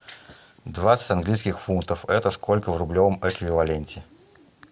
двадцать английских фунтов это сколько в рублевом эквиваленте